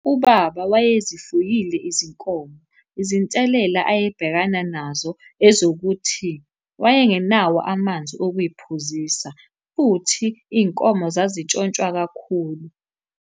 Ubaba wayezifuyile izinkomo, izinselela ayebhekana nazo ezokuthi wayengenawo amanzi okuy'phuzisa, futhi iy'nkomo zazitshontshwa kakhulu.